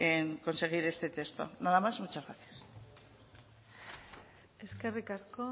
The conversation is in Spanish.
en conseguir este texto nada más muchas gracias eskerrik asko